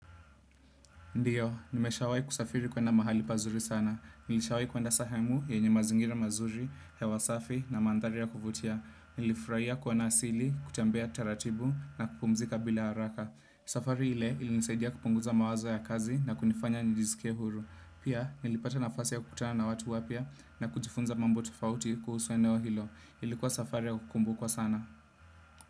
Ndiyo, nimeshawai kusafiri kwenda mahali pazuri sana. Nilishawai kwenda sehemu, yenye mazingira mazuri, hewa safi na mandhari ya kuvutia. Nilifuraia kuona asili, kutembea taratibu na kupumzika bila haraka. Safari ile ilinisaidia kupunguza mawazo ya kazi na kunifanya njisikie huru. Pia, nilipata nafasi ya kutana na watu wapya na kujifunza mambo tofauti kuhusu eneo hilo. Ilikuwa safari ya kukumbukwa sana.